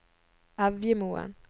Evjemoen